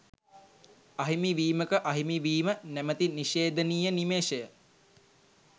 අහිමි වීමක අහිමිවීම නැමති නිශේධනීය නිමේෂය